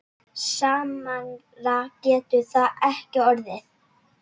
Sannara getur það ekki orðið.